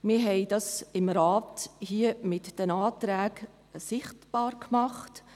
Wir haben dies im Rat hier mit den Anträgen sichtbar gemacht;